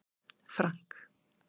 Frank